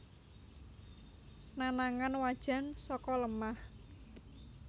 Nanangan wajan saka lemah